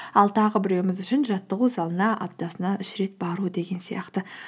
ал тағы біреуіміз үшін жаттығу залына аптасына үш рет бару деген сияқты